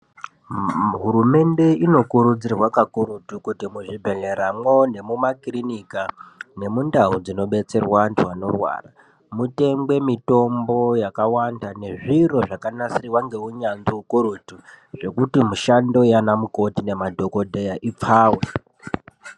Hurumende inokurudzirwa kakurutu kuti muzvibhehleramwo nemumakirinika nemundau dzinobetserwa antu anorwara mutengwe mitombo yakawanda nezviro zvakanasirwa ngeunyanzi ukurutu zvekuti mishando yana mukoti nemadhokodheya ipfawe.